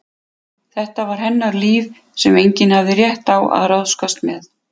Þetta var hennar líf sem enginn hafði rétt á að ráðskast með.